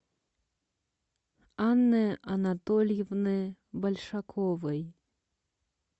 анны анатольевны большаковой